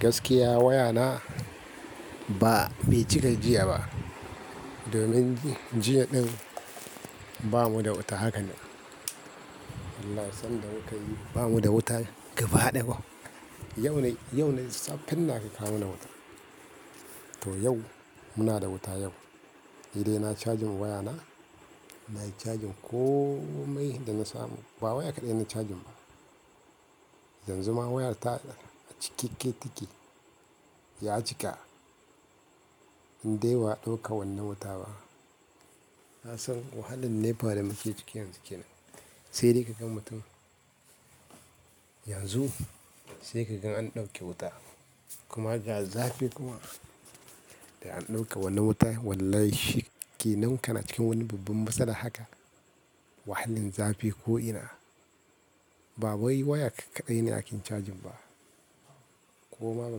Gaskiya wayana ba bai cika jiya ba, domin jiya ɗin ba mu da wuta haka ne. Allah ya san da wuta yi, ba mu da wuta gaba ɗaya ba. Yau ne, yau ne safen da aka kawo mana wuta. To yau muna da wuta yau, ni dai na yi cajin wayana. Na yi cajin komai da na samu. Ba waya kaɗai na cajin ba. Yanzu ma wayar ta cikakke take ya cika. Inde ba a ɗauka wannan wuta ba. Na san wahalan nepa da muke ciki yanzu kenan. Sai dai ka gan mutum yanzu, sai ka gan an ɗauki wuta kuma ga zafi kuma. Da an ɗauka wannan wuta wallahi shikenan kana cikin wani babban masala haka. Wahalin zafi ko ina. Ba wai waya kaɗai ne ake cajin ba. Koma ba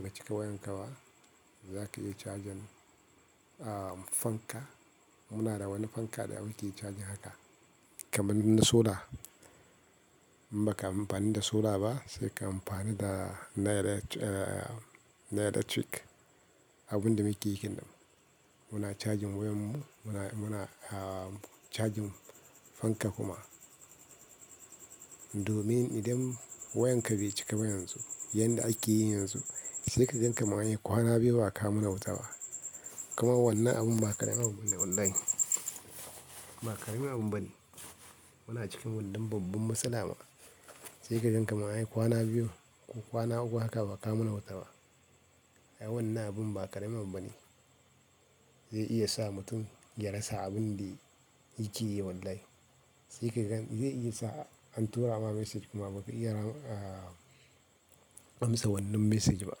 ka cika wayan ka ba, za ka iya cajin, ah fanka. Muna da wani fanka da muke cajin haka. Kaman na solar. Ba ka amfani da solar ba, sai ka amfani da na electric, abun da make yake nan. Muna cajin wayanmu, muna, muna ah cajin fanka kuma. Domin idan wayan ka bai cika ba yanzu, yanda ake yi yanzu, sai ka jan kama yi kwana biyu ba a kawo mana wuta ba. Kuma wannan abun ba kaɗan abun bane wallahi. Ba kaɗan abun bane. Muna cikin wannan babban matsala ma. Sai ka jan kama yi kwana biyu ko kwana uku haka ba a kawo mana wuta ba. Ai wannan abun ba ƙaramin abu bane. Zai iya sa mutum ya rasa abin da yake yi wallahi. Sai ka gan zai iya sa an tura ma message kuma ba ka iya ram, ah amsa wannan message ba.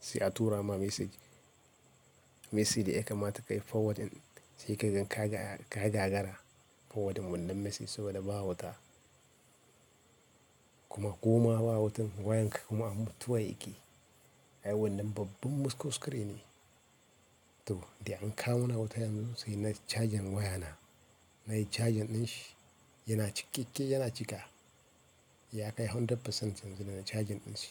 Sai a tura ma message, message da a kaima ta kai forwardin. Sai ka gan ka gagara forwardin wannan message saboda ba wuta. Kuma ko ma ba wutan wayan ka kuma mutuwa yake. Ai wannan babban kuskure ne. To, dai an kawo mana wuta yanzu sai na cajin wayana. Na yi cajin ɗinshi, yana cikakke yana cika. Ya kai kashi ɗari cikin ɗari yanzu da ina cajin ɗinshi.